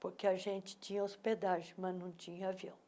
porque a gente tinha hospedagem, mas não tinha avião.